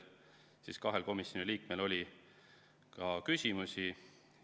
Kahel komisjoni liikmel oli ka küsimusi.